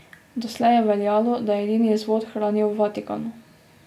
Doslej je veljalo, da edini izvod hranijo v Vatikanu.